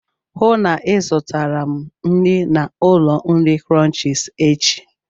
Hụụ na Ị zụtara m nri na ụlọ nri Crunchies échi!